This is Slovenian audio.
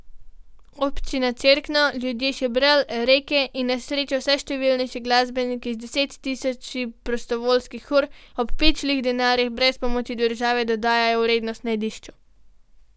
Občina Cerkno, ljudje Šebrelj, Reke in na srečo vse številnejši glasbeniki z deset tisoči prostovoljskih ur ob pičlih denarjih, brez pomoči države, dodajajo vrednost najdišču.